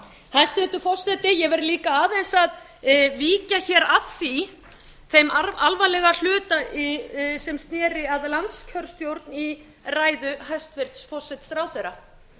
hæstvirtur forseti ég verð líka aðeins að víkja hér að því þeim alvarlega hluta sem sneri að landskjörstjórn í ræðu hæstvirts forsætisráðherra